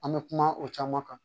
An bɛ kuma o caman kan